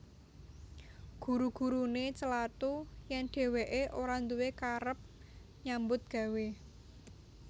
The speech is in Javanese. Guru guruné celathu yèn dhèwèké ora nduwé karep nyambut gawé